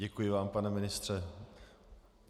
Děkuji vám, pane ministře.